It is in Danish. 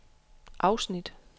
afsnit